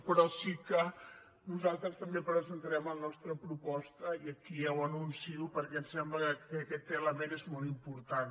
però sí que nosaltres també presentarem la nostra proposta i aquí ja ho anuncio perquè ens sembla que aquest element és molt important